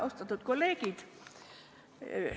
Austatud kolleegid!